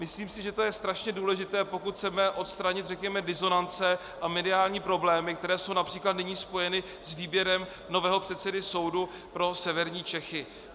Myslím si, že to je strašně důležité, pokud chceme odstranit řekněme disonance a mediální problémy, které jsou například nyní spojeny s výběrem nového předsedy soudu pro severní Čechy.